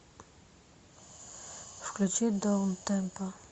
включи даунтемпо